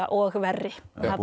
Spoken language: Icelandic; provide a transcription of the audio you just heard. og verri